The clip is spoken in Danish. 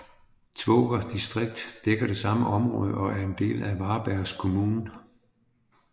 Tvååker distrikt dækker det samme område og er en del af Varbergs kommun